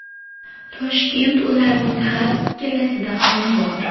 Toshkent ularning har ikkalasida ham bor.